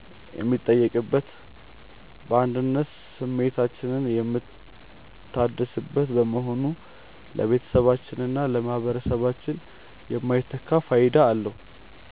የሚጠየቅበትና የአንድነት ስሜታችን የሚታደስበት በመሆኑ ለቤተሰባችንና ለማኅበረሰባችን የማይተካ ፋይዳ አለው።